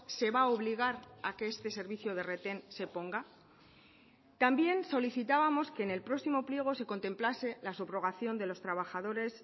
se va a obligar a que este servicio de retén se ponga también solicitábamos que en el próximo pliego se contemplase la subrogación de los trabajadores